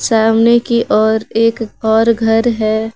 सामने की ओर एक और घर है।